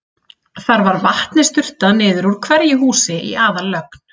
Þar var vatni sturtað niður úr hverju húsi í aðallögn.